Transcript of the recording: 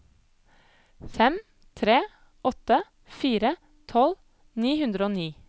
fem tre åtte fire tolv ni hundre og ni